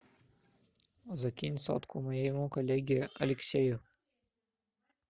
закинь сотку моему коллеге алексею